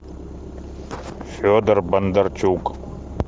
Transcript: федор бондарчук